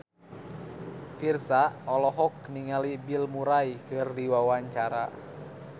Virzha olohok ningali Bill Murray keur diwawancara